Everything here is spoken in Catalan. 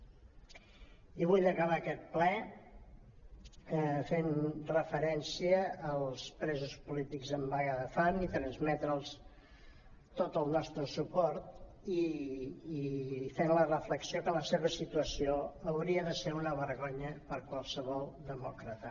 i vull acabar aquest ple fent referència als presos polítics en vaga de fam i transmetre’ls tot el nostre suport i fent la reflexió que la seva situació hauria de ser una vergonya per qualsevol demòcrata